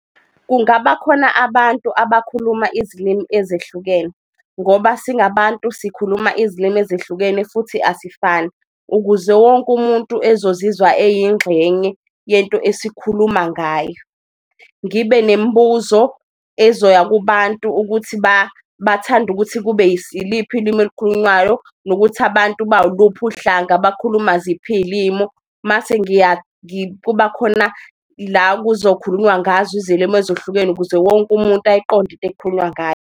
Kungaba khona abantu abakhuluma izilimi ezehlukene ngoba singabantu sikhuluma izilimi ezehlukene futhi asifani, ukuze wonke umuntu ezozizwa eyingxenye yento esikhuluma ngayo. Ngibe nembuzo ezoya kubantu ukuthi bathanda ukuthi kube iliphi ilimi elukhulunywayo nokuthi abantu bawuluphi uhlanga, bakhuluma ziphi iy'limu. Mase kuba khona la kuzo khulunywa ngazo izilimu ezohlukene ukuze wonke umuntu ayiqonde into ekukhulunywa ngayo.